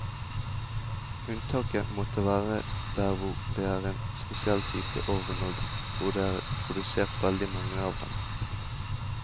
Unntaket måtte være der hvor der er en spesiell type ovn og hvor det er produsert veldig mange av dem.